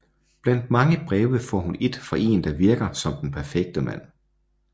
Blandt mange breve får hun et fra en der virker som den perfekte mand